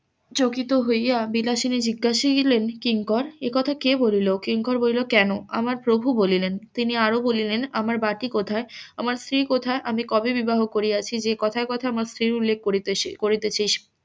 চকিত হইয়া বিলাসিনী জিজ্ঞাসিলেন কিংকর একথা কে বলিল কিঙ্ককর কইলো কেন আমার প্রভু বলিলেন তিনি আরো বলিলেন আমার বাটি কোথায় আমার স্ত্রী কোথায় আমি কবে বিবাহ করিয়াছি যে কথায় কথায় আমার স্ত্রীর উল্লেখ করতে~ করিতেছিস